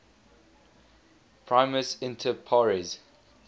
primus inter pares